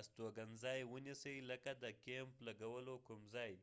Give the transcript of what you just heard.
استوګنځای ونیسئ لکه د کېمپ لګولو کوم ځای